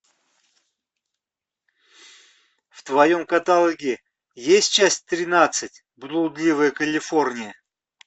в твоем каталоге есть часть тринадцать блудливая калифорния